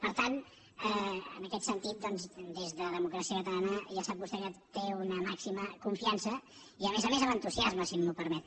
per tant en aquest sentit doncs des de democràcia catalana ja sap vostè que té una màxima confiança i a més a més amb entusiasme si m’ho permet